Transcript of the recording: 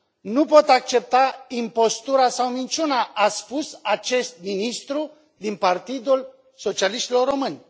Nu pot accepta impostura sau minciuna a spus acest ministru din partidul socialiștilor români.